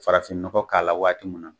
Farafinnɔgɔ k'a la waati min.